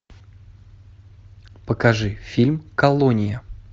покажи фильм колония